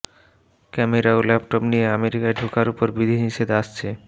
camera ও laptop নিয়ে আমেরিকায় ঢোকার ওপর বিধিনিষেধ আসছে